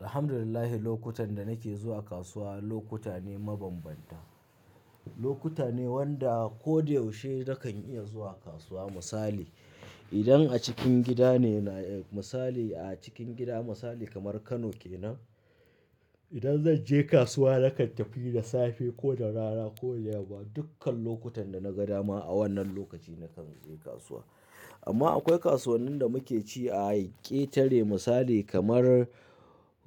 Alhamdulillah, lokutan da nake zuwa kasuwa lokuta ne mabanbanta. Lokuta ne wanda ko da yaushe na kan iya zuwa kasuwa. Misali, idan a cikin gida ne, misali a cikin gida misali kamar Kano kenan, idan zan je kasuwa na kan tafi da safe ko da rana ko da yamma. Dukkan lokutan da na ga dama a wannan lokaci na kan je kasuwa. Amma akwai kasuwannin da muke ci a aketare misali kamar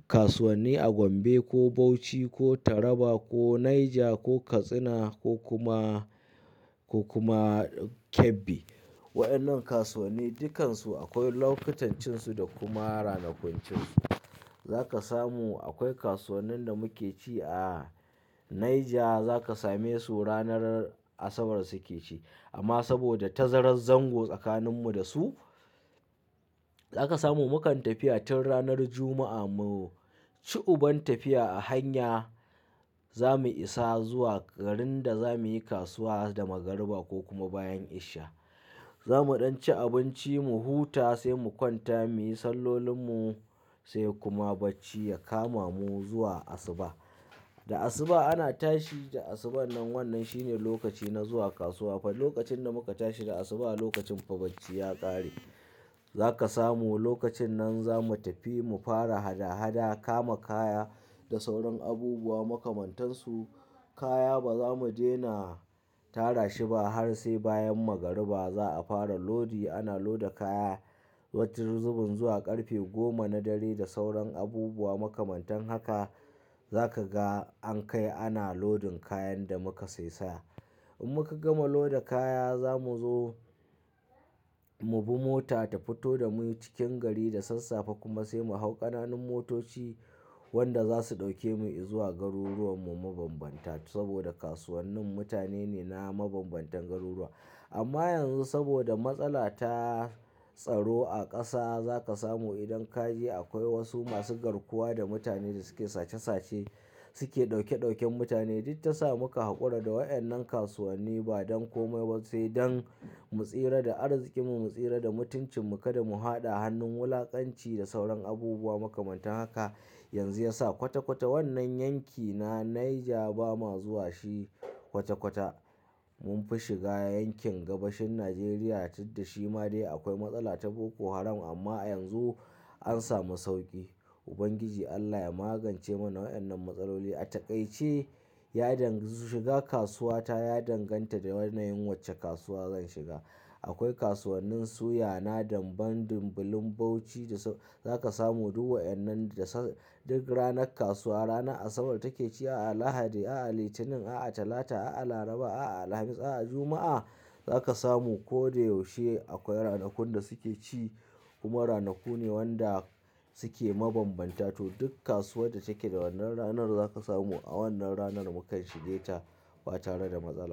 kasuwanni a Gombe ko Bauchi ko Taraba ko Niger ko Katsina ko kuma, ko kuma Kebbi. Wa'innan kasuwanni dukkansu akwai lokutancinsu da kuma ranakun cinsu. Za ka samu akwai kasuwannin da muke ci a Niger za ka same su ranar Asabar suke ci. Amma saboda tazarar zango tsakaninmu da su, za ka samu mu kan tafiya tun ranar Juma'a mu ci uban tafiya a hanya, za mu isa zuwa garin da za muyi kasuwa da magariba ko kuma bayan isha. Za mu ɗan ci abinci, mu huta sai mu kwanta muyi sallolinmu sai kuma bacci ya kama mu zuwa asuba. Da asuba ana tashi, da asuba nan wannan shine lokaci na zuwa kasuwa. Fa lokacin da muka tashi da asuba lokacin fa bacci ya ƙare. Za ka samu lokacin nan za mu tafi mu fara hada-hada, kama kaya da sauran abubuwa makamantan su. Kaya ba za mu dena tara shi ba har sai bayan magariba za a fara lodi. Ana loda kaya, wata zubin zuwa ƙarfe goma na dare da sauran abubuwa makamantan haka. Za ka ga an kai ana lodin kayan da muka sai saya. In muka gama loda kaya, za mu zo mu bi mota ta fito da mu cikin gari da sassafe kuma sai mu hau ƙananun motoci wanda za su ɗauke mu izuwa garuruwan mu mabambanta. Saboda kasuwannin mutane ne na mabambantan garuruwa. Amma yanzu saboda matsala ta tsaro a ƙasa, za ka samu idan ka je akwai wasu masu garkuwa da mutane da suke sace sace. Suke ɗauke ɗauken mutane. Duk ta sa muka haƙura da wa'innan kasuwanni ba don komai ba sai dan mu tsira da arzikin mu, mu tsira da mutuncin mu. Kada mu faɗa hannun wulaƙanci da sauran abubuwa makamantan haka. Yanzu ya sa kwata kwata wannan yanki na Niger ba ma zuwa shi kwata kwata. Mun fi shiga yankin gabashin Najeriya didda shi ma dai akwai matsala ta Boko Haram amma yanzu an samu sauƙi. Ubangiji Allah ya magance mana wa'innan matsaloli a taƙaice. Ya danga-- shiga kasuwa ta ya danganta da yanayin wacce kasuwa zan shiga. Akwai kasuwannin suya na damben dimbilin Bauchi da za ka samu duk wa'innan da duk ranar kasuwa. Ranar Asabar take ci, a'a Lahadi, a'a Litinin, a'a Talata, a'a Laraba, a'a Alhamis, a'a Juma'a. Za ka samu ko da yaushe akwai ranakun da suke ci kuma ranaku ne wanda suke mabambanta. To duk kasuwa da take da wannan ranar za ka samu a wannan ranar mukan shige ta ba tare da matsala.